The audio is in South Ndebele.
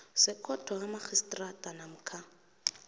zekhotho kamarhistrada namkha